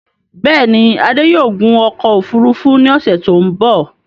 Bẹ́ẹ̀ni, Adé yóò gun ọkọ̀ òfurufú ní ọ̀ṣẹ̀ tí ó m̀bọ̀